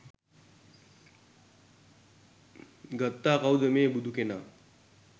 ගත්තා කවුද මේ බුදුකෙනා?